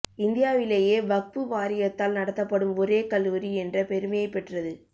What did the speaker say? இந்தியாவிலேயே வக்பு வாரியத்தால் நடத்தப்படும் ஒரே கல்லூரி என்ற பெருமையைப் பெற்றது